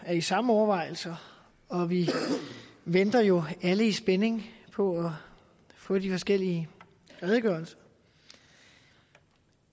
i samme overvejelser og vi venter jo alle i spænding på at få de forskellige redegørelser